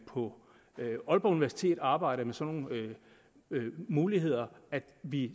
på aalborg universitet arbejder med sådan nogle muligheder at vi